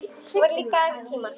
Það voru líka aðrir tímar.